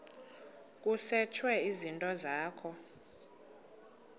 kusetshwe izinto zakho